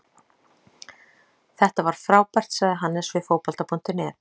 Þetta var frábært, sagði Hannes við Fótbolta.net.